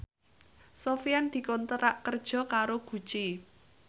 Sofyan dikontrak kerja karo Gucci